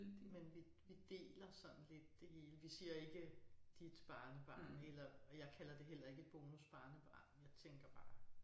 Men vi vi deler sådan lidt det hele. Vi siger ikke dit barnebarn eller og jeg kalder det heller ikke et bonusbarnebarn jeg tænker bare